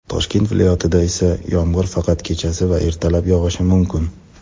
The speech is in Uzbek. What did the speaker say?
Toshkent viloyatida esa yomg‘ir faqat kechasi va ertalab yog‘ishi mumkin.